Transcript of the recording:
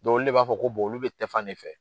Don olu de b'a fɔ ko olu be tɛfan ne fɛ.